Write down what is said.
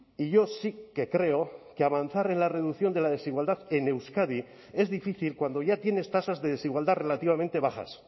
y yo sí que creo que avanzar en la reducción de la desigualdad en euskadi es difícil cuando ya tienes tasas de desigualdad relativamente bajas